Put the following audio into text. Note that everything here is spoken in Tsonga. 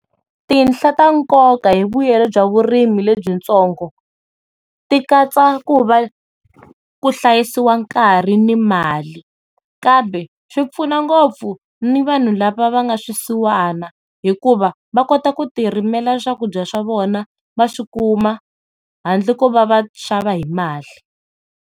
Tinhla ta nkoka hi mbuyelo bya vurimi le byitsongo tikatsa ku va ku hlayisiwa nkarhi ni mali kanbe swi pfuna ngopfu ni vanhu lava va nga swisiwana hikuva va kota ku tirimelela swakudya swa vona va swikumiwa handle ko va va xava hi mali.